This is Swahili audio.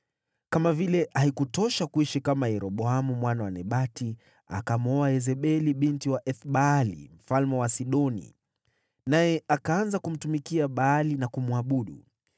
Kama vile haikutosha kuishi kama Yeroboamu mwana wa Nebati, akamwoa Yezebeli binti wa Ethbaali, mfalme wa Wasidoni, naye akaanza kumtumikia Baali na kumwabudu.